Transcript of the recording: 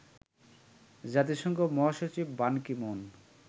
জাতিসংঘ মহাসচিব Ban Ki moon